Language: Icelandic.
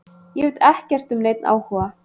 Ég veit ekkert um neinn áhuga.